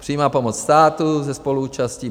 Přímá pomoc státu se spoluúčastí.